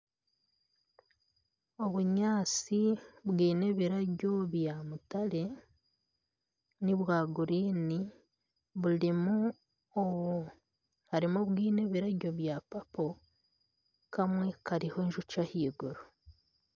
Obinyaatsi bwine ebirabyo bya mutare, nibwa guriini harimu obwine ebirabyo bya papo kamwe kariho enjoki ahaiguru